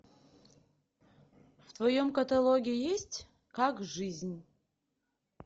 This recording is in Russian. в твоем каталоге есть как жизнь